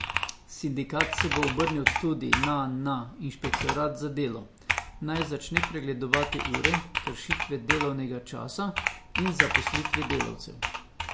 Sindikat se bo obrnil tudi na na inšpektorat za delo, naj začne pregledovati ure, kršitve delovnega časa in zaposlitve delavcev.